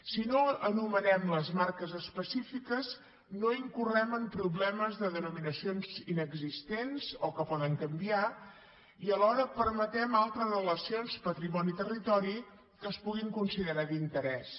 si no anomenem les marques específiques no incorrem en problemes de denominacions inexistents o que poden canviar i alhora permetem altres relacions patrimoni territori que es puguin considerar d’interès